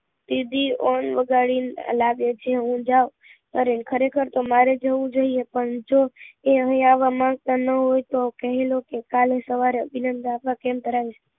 દીદી વગાડી ને લાગે છે હું જાઉં નરેન ખરેખર તો મારે જવું જોઈએ પણ જો એ અહી આવવા માંગતા ના હોય તો કાલે સવારે અભિનંદન કેમ